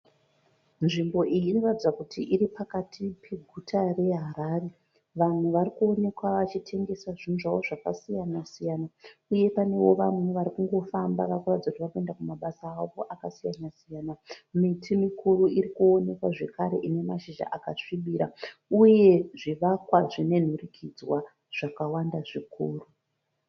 Nzvimbo iyi inoratidza kuti iripakati peguta reHarare. Vanhu varikuonekwa vachitengesa zvinhu zvavo zvakasiyana siyana uyevo pane vamwe varikungofamba vakuratidza kuti varikuenda kumabasa avo akasiyana siyana. Miti mikuru irikuonekwa zvakare inemashizha akasvibira uye zvivakwa zvinenhurikidzwa zvakawanda zvikuru.